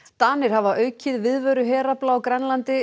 Danir hafa aukið viðveru herafla á Grænlandi